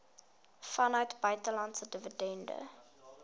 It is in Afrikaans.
vanuit buitelandse dividende